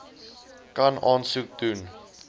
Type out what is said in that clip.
kan aansoek doen